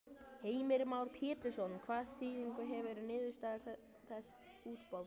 Heimir Már Pétursson: Hvaða þýðingu hefur niðurstaða þessa útboðs?